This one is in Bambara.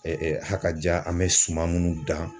a kaja an bɛ suman minnu dan.